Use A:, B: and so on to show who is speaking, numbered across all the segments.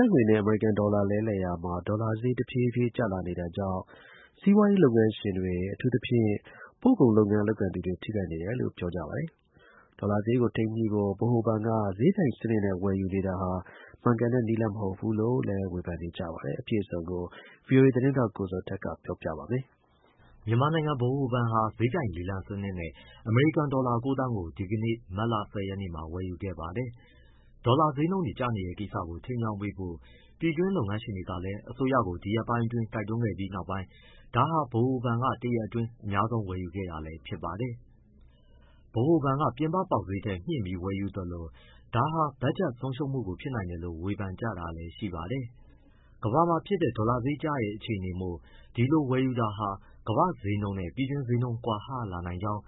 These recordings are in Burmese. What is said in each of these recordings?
A: ပ်ငွေနဲ့ အမေရိကန်ဒေါ်လာ လဲလှယ်နှုန်းမှာ ဒေါ်လာဈေး တဖြည်းဖြည်း ကျလာနေတာကြောင့် စီးပွားရေး လုပ်ငန်း ရှင်တွေ၊ အထူးသဖြင့် ပို့ကုန်လုပ်ငန်း လုပ်ကိုင်သူတွေ ထိခိုက်နေတယ်လို့ ပြောကြပါတယ်။ ဒေါ်လာဈေးကို ထိန်းညှိဖို့ ဗဟိုဘဏ်က ဈေးပြိုင်စနစ်နဲ့ ဝယ်ယူနေတာဟာလည်း မှန်ကန်တဲ့နည်းလမ်းမဟုတ်ဘူးလို့ ဝေဖန်ကြပါတယ်။ အပြည့်အစုံကို ဗွီအိုအေ သတင်းထောက် ကိုဇော်ထက်က ဆက်ပြောပြပါမယ်။ မြန်မာနိုင်ငံဗဟိုဘဏ်ဟာ ဈေးပြိုင်လေလံစနစ်နဲ့ အမေရိကန်ဒေါ်လာ ၉ သန်းကို ဒီကနေ့ ဝယ်ယူခဲ့ပါတယ်။ ဒေါ်လာဈေးနှုန်းတွေကျနေတဲ့ ကိစ္စကို ထိန်းကြောင်းပေးဖို့ ပြည်တွင်းလုပ်ငန်းရှင်တွေကလည်း အစိုးရကို ဒီရက်ပိုင်းအတွင်းတိုက်တွန်းခဲ့ပြီးနောက်ပိုင်း ဒါဟာ ဗဟိုဘဏ်က တရက်အတွင်း အများဆုံး ဝယ်ယူခဲ့တာလည်း ဖြစ်ပါတယ်။ ဗဟိုဘဏ်က ပြင်ပပေါက်ဈေးထက် မြှင့်ပြီးဝယ်ယူသလို ဒါဟာ ဘက်ဂျက်ဆုံးရှုံးမှုဖြစ်နိုင်တယ်လို့ ဝေဖန်ကြတာလည်းရှိပါတယ်။ ကမ္ဘာမှာဖြစ်တဲ့ ဒေါ်လာဈေးကျနေတဲ့ အခြေအနေမို့ ဒီလိုဝယ်ယူတာဟာ ကမ္ဘာ့ဈေးနှုန်းနဲ့ ပြည်တွင်းဈေးနှုန်း ကွာဟလာနိုင်ကောင်း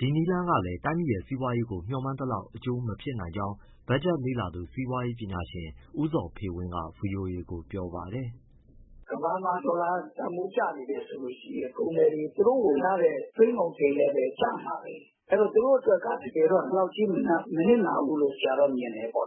A: ၊ ဒီနည်းလမ်းကလည်း တိုင်းပြည်ရဲ့ စီးပွားရေးကို မျှောမှန်းသလောက် အကျိုးမဖြစ်နိုင်ကြောင်း ဘက်ဂျက်လေ့လာသူ စီးပွားရေးပညာရှင် ဦးဇော်ဖေဝင်းက ဗွီအိုအေကို ပြောပါတယ်။
B: “ ကမ္ဘာမှာဒေါ်လာတန်ဖိုးကျနေတယ်ဆိုရင် ကုန်သည်တွေ သူတို့ဝယ်ရတဲ့ သွင်းကုန်ဈေးလည်း ကျမှာပဲ။ အဲဒီတော့ သူတို့အတွက်က ဒီလောက်ကြီး မနစ်နာဘူးလို့ ဆရာတော့မြင်တယ်။ ဒါ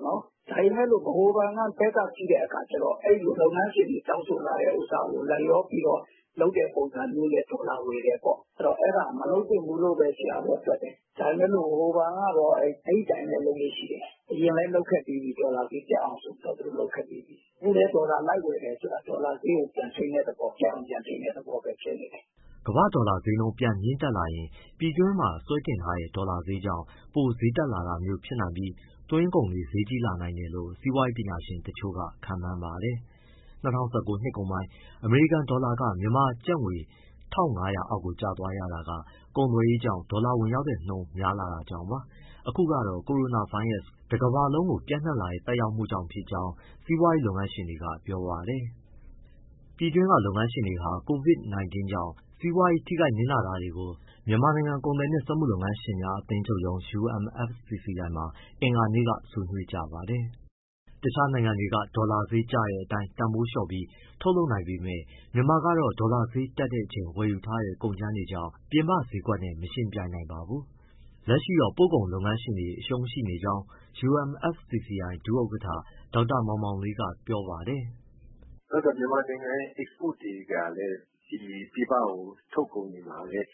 B: ပေမယ့် ဗဟိုဘဏ်ဘက်က ကြည့်တဲ့အခါကျတော့ လုပ်ငန်းရှင်တွေတောင်းဆိုလာတဲ့ဟာကို လိုက်လျောပြီးတော့ လုပ်တဲ့ပုံစံနဲ့ ဒေါ်လာဝယ်တယ်ပေါ့။ အဲဒါမလုပ်သင့်ဘူးလို့ဘဲ ဆရာတော့ တွက်တယ်။ ဒါပေမဲ့ ဗဟိုဘဏ်ကတော့ အဲဒီအတိုင်းပဲ လုပ်လေ့ရှိတယ်။ အရင်လည်းလုပ်ခဲ့ပြီးပြီး ဒေါ်လာဈေးတက်အောင် အဲအတိုင်းပဲ
C: ။ အခုလည်း ဒေါ
B: ်လာလိုက်ဝယ်ဆိုတာ ဒေါ်လာဈေးကို ပြန်ထိန်းတဲ့သဘော၊ တက်အောင် ပြန်ထိန်းတဲ့ သဘောပဲ ဖြစ်နေတယ်။
A: ” ကမ္ဘာ့ဒေါ်လာဈေးပြန်မြင့်တက်လာရင်၊ ပြည်တွင်းမှာ ဆွဲတင်ထားတဲ့ ဒေါ်လာဈေးကြောင့် ပိုဈေးတက်လာမျိုးဖြစ်နိုင်ပြီး သွင်းကုန်တွေ ဈေးကြီးလာနိုင်တယ်လို့ စီးပွားရေးပညာရှင်တချို့က ခန့်မှန်းပါတယ်။ ၂၀၁၉ နှစ်ကုန်ပိုင်း အမေရိကန်ဒေါ်လာက မြန်မာကျပ်ငွေ ၁၅၀၀ အောက်ကိုကျသွားရတာက ကုန်သွယ်ရေးကြောင့် ဒေါ်လာဝင်ရောက်တဲ့နှုန်း များလာတာကြောင့်ပါ။ အခုကတော့ ကိုရိုနာဗိုင်းရပ်စ် Covid- 19 တကမ္ဘာလုံးကို ပျံ့နှံ့လာတဲ့ သက်ရောက်မှုကြောင့် ဖြစ်ကြောင်း စီးပွားရေး လုပ်ငန်းရှင်တွေက ပြောပါတယ်။ ပြည်တွင်းကလုပ်ငန်းရှင်တွေဟာ Covid- 19 ကြောင့် စီးပွားရေး ထိခိုက်နစ်နာတာတွေကို မြန်မာနိုင်ငံ ကုန်သည်နှင့်စက်မှု၊ လက်မှု လုပ်ငန်းရှင်များ အသင်းချုပ်ရုံး UMFCCI မှာ အင်္ဂါနေ့က ဆွေးနွေးကြပါတယ်။ တခြားနိုင်ငံတွေက ဒေါ်လာဈေးကျတဲ့အတိုင်း တန်ဖိုးလျှော့ပြီး ထုတ်လုပ်နိုင်ပေမဲ့ မြန်မာကတော့ ဒေါ်လာဈေးတက်ချိန် ဝယ်ယူထားတဲ့ ကုန်ကြမ်းတွေကြောင့် ပြည်ပဈေးကွက်နဲ့ မယှဉ်ပြိုင်နိုင်ပါဘူး။ လက်ရှိတော့ ပို့ကုန်လုပ်ငန်းရှင်တွေ အရှုံးရှိနေကြောင်း UMFCCI ဒုဥက္ကဋ္ဌ ဒေါက်တာမောင်မောင်လေးက ပြောပါ
B: တယ်။
C: “နောက် မြန်မာနိုင်ငံရဲ့ အိတ်စပို့တွေကလည်း ပြည်ပကို ထုတ်ကုန်တွေမှာလည်း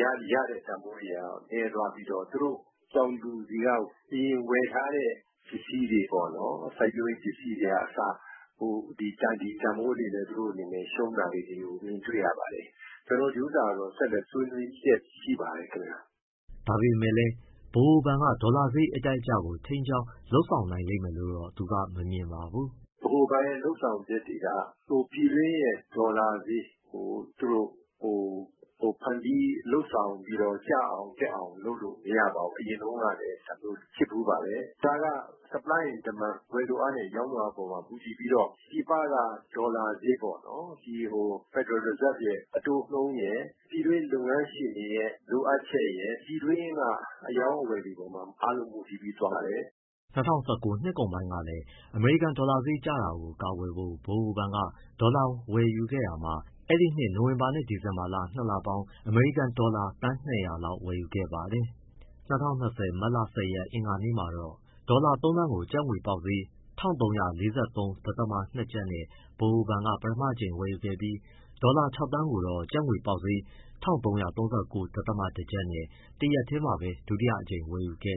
C: ရတဲ့ တန်ဖိုးတွေက နည်းသွားပြီးတော့ သူတို့ တောင်သူတွေက အရင်ဝယ်ထားတဲ့ ပစ္စည်းတွေပေါ့၊ စိုက်ပျိုးရေး ပစ္စည်းတွေကအစ ဒီတန်ဖိုးတွေနဲ့ သူတို့ ရှုံးတာလေးတွေကို မြင်တွေ့ရပါတယ်။ ကျနော်တို့ကတော့ ဒီဥစ္စာကတော့ ဆက်လက် ဆွေးနွေးလျက်ရှိပါတယ် ခင်ဗျ။
A: ” ဒါပေမဲ့လည်း ဗဟိုဘဏ်က ဒေါ်လာဈေး အတက်၊ အကျကို ထိန်းကြောင်း လုပ်ဆောင်နိုင်လိမ့်မယ်လို့တော့ သူကမမြင်ပါဘူး။
C: “ဗဟိုဘဏ်ရဲ့ လုပ်ဆောင်ချက်တွေက ပြည်တွင်းရဲ့ ဒေါ်လာဈေးကို သူတို့ ဖန်တီးလုပ်ဆောင်ပြီးတော့ ကျအောင်၊ တက်အောင်လုပ်လို့ မရပါဘူး။ အရင်တုန်းကလည်း ဒါမျိုးဖြစ်ဖူးပါတယ်။ ဒါက Supply and Demand ဝယ်လိုအားနဲ့ ရောင်းလိုအားအပေါ် မူတည်ပြီးတော့ ပြည်ပက ဒေါ်လာဈေးပေါ့နော် federal reserve ရဲ့ အတိုးနှုန်းရယ်၊ ပြည်တွင်းလုပ်ငန်းရှင်တွေရဲ့ လိုအပ်ချက်ရယ် ပြည်တွင်းက အရောင်းအဝယ်တွေအပေါ်မှာ အားလုံး မူတည်ပြီး သွားပါတယ်။”
A: ၂၀၁၉ နှစ်ကုန်ပိုင်းကလည်း အမေရိကန်ဒေါ်လာဈေး ကျလာတာကို ကာကွယ်ဖို့ ဗဟိုဘဏ်က ဒေါ်လာငွေ ဝယ်ယူခဲ့တာမှာ အဲဒီနှစ် နိုဝင်ဘာနဲ့ ဒီဇင်ဘာလ ၂လပေါင်း အမေရိကန်ဒေါ်လာ သန်း ၂၀၀ လောက်ဝယ်ယူခဲ့ပါတယ်။ ၂၀၂၀ မတ်လ ၁၀ ရက် အင်္ဂါနေ့မှာတော့ ဒေါ်လာ ၃သန်းကို ကျပ်ငွေပေါက်ဈေး ၁၃၄၃.၂ ကျပ်နဲ့ ဗဟိုဘဏ်က ပထမအကြိမ်ဝယ်ယူပြီး၊ ဒေါ်လာ ၆ သန်းကိုတော့ ကျပ်ငွေပေါ
B: က်ဈေး ၁၃၃၉.၁ ကျပ်နဲ့ တရက်ထဲမှာပဲ ဒုတိယအကြိမ် ဝယ်ယူခဲ့